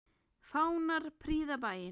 Fánar prýða bæinn.